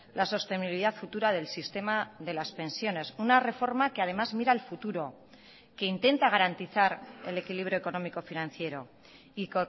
la sostenibilidad futura del sistema de las pensiones una reforma que además mira al futuro que intenta garantizar el equilibrio económico financiero y